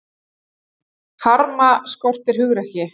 Harma skort á hugrekki